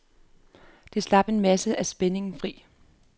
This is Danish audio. Det slap en masse af spændingerne fri.